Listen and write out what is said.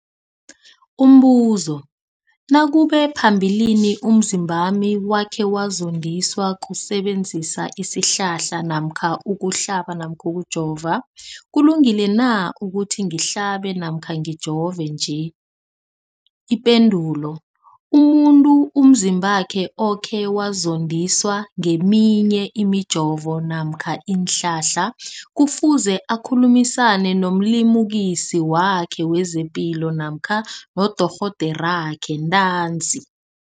Umbuzo, nakube phambilini umzimbami wakhe wazondiswa kusebenzisa isihlahla namkha ukuhlaba namkha ukujova, kulungile na ukuthi ngihlabe namkha ngijove nje? Ipendulo, umuntu umzimbakhe okhe wazondiswa ngeminye imijovo namkha iinhlahla kufuze akhulumisane nomlimukisi wakhe wezepilo namkha nodorhoderakhe ntanzi.